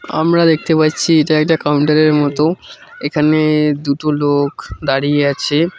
আমরা দেখতে পাচ্ছি এটা একটা কাউন্টারের মতো এখানে-এ দুটো লোক দাঁড়িয়ে আছে।